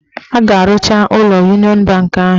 A ga-arụcha ụlọ Uniọn banki ahụ.